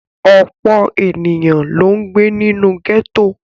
Ọ̀pọ̀ ènìyàn ló ń gbé nínú gẹ́tò.